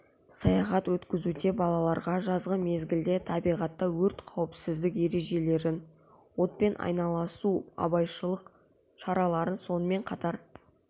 саяхат өткізуде балаларға жазғы мезгілде табиғатта өрт қауіпсіздік ережелерін отпен айналасу абайлаушылық шараларын сонымен қатар